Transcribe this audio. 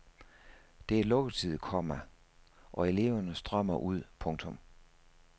Det er lukketid, komma og eleverne strømmer ud. punktum